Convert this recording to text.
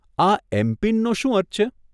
આ એમપીન નો શું અર્થ છે?